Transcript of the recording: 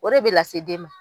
O de bɛ lase den ma.